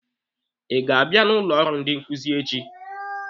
Ị ga-abịa n'ụlọ ọrụ ndị nkuzi echi?